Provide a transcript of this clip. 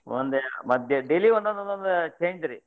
ಒಂದ್ ಮತ್ daily ಒಂದೊಂದ್ದೊಂದ್ change ರೀ.